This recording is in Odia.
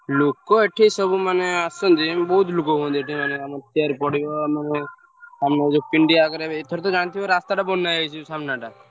ଲୋକ ଏଠି ସବୁ ମାନେ ଆସନ୍ତି ବହୁତ୍ ଲୋକ ହୁଅନ୍ତି ଆମର chair ପଡିବ ଆମର ଆମର ପିଣ୍ଡି ଆଗରେ ଏବେ ଏଥର ତ ଜାଣିଥିବ ରାସ୍ତା ତା ବନା ହେଇଯାଇଚି ସାମ୍ନା ଟା।